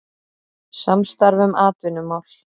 Samstarf um atvinnumál